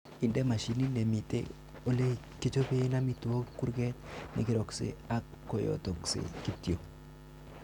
Inde mashinit nemiten elekichoben amitwogik kurget nekeroksei ak koyotoksei kityok.